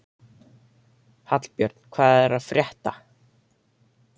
Hallbjörn, hvað er að frétta?